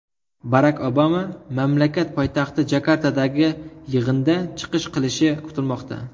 Barak Obama mamlakat poytaxti Jakartadagi yig‘inda chiqish qilishi kutilmoqda.